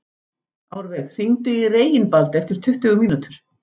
Árveig, hringdu í Reginbald eftir tuttugu mínútur.